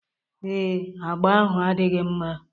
Ee, agba ahụ adịghị mma